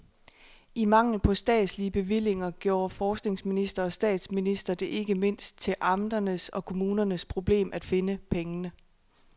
I mangel på statslige bevillinger gjorde forskningsminister og statsminister det ikke mindst til amternes og kommunernes problem at finde pengene.